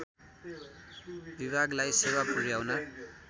विभागलाई सेवा पुर्‍याउन